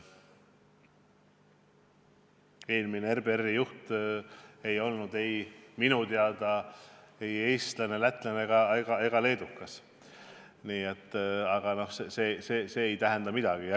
Eelmine RBR-i juht ei olnud minu teada ei eestlane, lätlane ega leedukas, aga see ei tähendanud midagi.